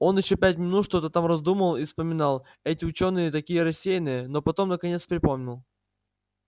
он ещё минут пять что-то там раздумал и вспоминал эти учёные такие рассеянные но потом наконец припомнил